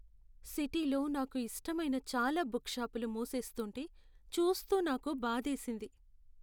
సిటీలో నాకు ఇష్టమైన చాలా బుక్ షాపులు మూసేస్తుంటే చూస్తూ నాకు బాధేసింది.